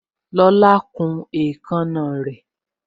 Lola kun èékánná rè